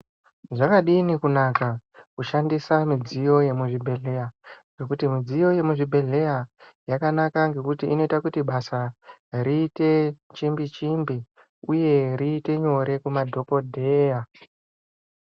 Zvakadini kunaka kushandisa midziyo yemuzvibhehleya ngekuti midziyo yemuzvibhedhleya yakanaka ngekuti inoita kuti basa riite chimbi chimbi uye riite nyore kuma dhokodheya.